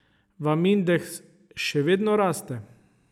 Vam indeks še vedno raste?